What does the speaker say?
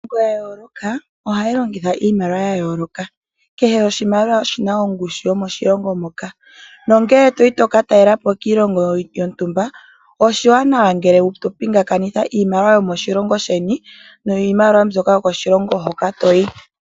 Iilongo ya yooloka ohayi longitha iimaliwa ya yooloka. Kehe oshimaliwa oshina ongushu yomoshilongo moka nongele toyi toka talela po kiilongo yontumba oshiwanawa ngele to pingakanitha iimaliwa yomoshilongo sheni niimaliwa yokoshilongo hoka toyi.